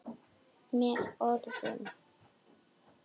Með orðum.